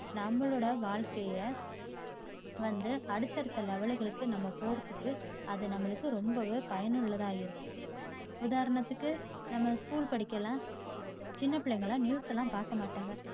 நம்மளோட வாழ்க்கையை வந்து அடுத்த அடுத்த level களுக்கு நம்ம போறதுக்கு அது நம்மளுக்கு ரொம்பவே பயனுள்ளதா இருக்கும். உதாரணத்துக்கு நம்ம school படிக்கையில் சின்ன பிள்ளைங்கயெல்லாம் news யெல்லாம் பாக்கமாட்டாங்க